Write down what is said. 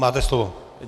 Máte slovo.